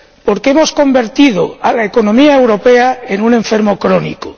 Porque hemos convertido a la economía europea en un enfermo crónico.